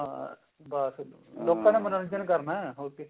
ਹਾਂ ਬਸ ਲੋਕਾਂ ਦਾ ਮਨੋਰੰਜਨ ਕਰਨਾ